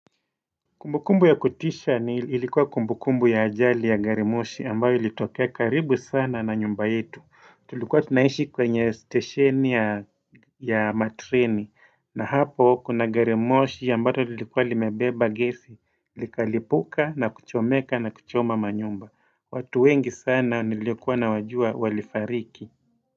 Kumbukumbu ya kutisha ni ilikuwa kumbukumbu ya ajali ya garimoshi ambayo ilitokea karibu sana na nyumba yetu. Tulikuwa tunaishi kwenye stesheni ya ya matreni na hapo kuna garimoshi ambalo lilikuwa limebeba gesi likalipuka na kuchomeka na kuchoma manyumba. Watu wengi sana nilikuwa nawajua walifariki.